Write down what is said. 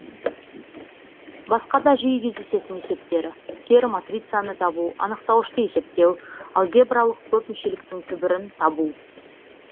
басқа да жиі кездесетін есептері кері матрицаны табу анықтауышты есептеу алгебралық көпмүшеліктің түбірін табу